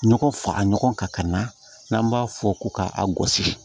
Ɲɔgɔn fara ɲɔgɔn kan ka na n'an b'a fɔ ko ka a gosi